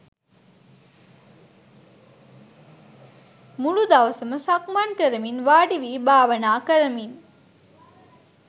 මුළු දවසම සක්මන් කරමින් වාඩි වී භාවනා කරමින්